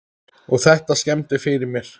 Og þetta skemmdi fyrir mér.